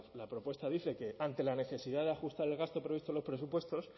la propuesta dice que ante la necesidad de ajustar el gasto previsto en los presupuestos